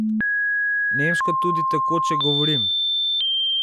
Nemško tudi tekoče govorim.